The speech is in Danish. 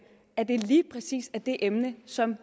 at det lige præcis er det emne som